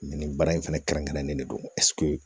Nin baara in fɛnɛ kɛrɛnkɛrɛnnen de don